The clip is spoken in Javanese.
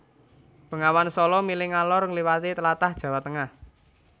Bengawan Sala mili ngalor ngliwati tlatah Jawa Tengah